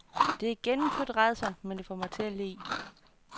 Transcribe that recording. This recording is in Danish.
Det er gennemført rædsomt, men det får mig til at le.